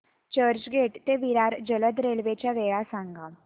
चर्चगेट ते विरार जलद रेल्वे च्या वेळा सांगा